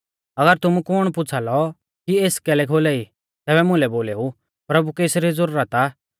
अगर तुमु कु कुण पुछ़ा लौ कि एस कैलै खोलाई तैबै तुमै बोलेऊ प्रभु कै एसरी ज़ुरत आ